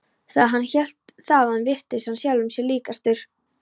Þegar hann hélt þaðan virtist hann sjálfum sér líkastur.